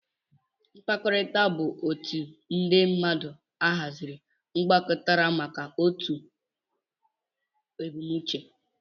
Mkpakọrita bu otu ndi mmadu ahaziri gbakọtaramaka n'otụ maka otụ ebumnuche.